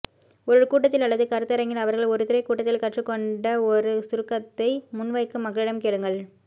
ஒரு கூட்டத்தில் அல்லது கருத்தரங்கில் அவர்கள் ஒரு துறை கூட்டத்தில் கற்றுக் கொண்ட ஒரு சுருக்கத்தை முன்வைக்க மக்களிடம் கேளுங்கள்